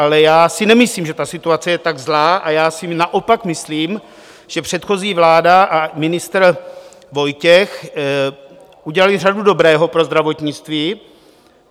Ale já si nemyslím, že ta situace je tak zlá, a já si naopak myslím, že předchozí vláda a ministr Vojtěch udělali řadu dobrého pro zdravotnictví.